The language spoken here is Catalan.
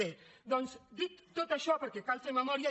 bé doncs dit tot això perquè cal fer memòria